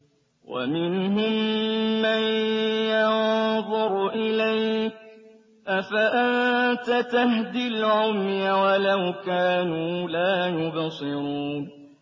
وَمِنْهُم مَّن يَنظُرُ إِلَيْكَ ۚ أَفَأَنتَ تَهْدِي الْعُمْيَ وَلَوْ كَانُوا لَا يُبْصِرُونَ